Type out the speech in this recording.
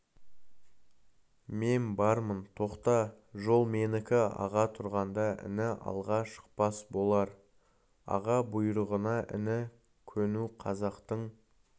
мен бармын тоқта жол менікі аға тұрғанда іні алға шықпас болар аға бұйрығына іні көну қазақтың